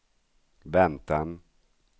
väntan